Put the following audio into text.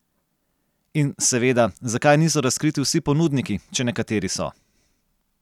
In seveda, zakaj niso razkriti vsi ponudniki, če nekateri so.